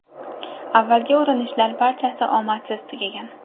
Avvalgi urinishlar barchasi omadsiz tugagan.